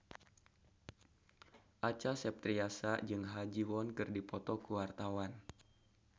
Acha Septriasa jeung Ha Ji Won keur dipoto ku wartawan